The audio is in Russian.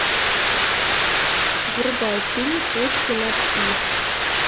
врубай фильм точки над и